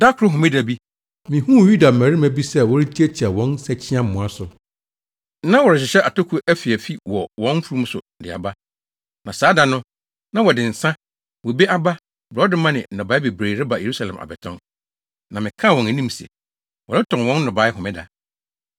Da koro Homeda bi, mihuu Yuda mmarima bi sɛ wɔretiatia wɔn nsakyiamoa so. Na wɔrehyehyɛ atoko afiafi wɔ wɔn mfurum so de aba. Na saa da no, na wɔde wɔn nsa, bobe aba, borɔdɔma ne nnɔbae bebree reba Yerusalem abɛtɔn. Na mekaa wɔn anim sɛ, wɔretɔn wɔn nnɔbae homeda.